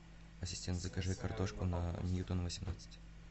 ассистент закажи картошку на ньютона восемнадцать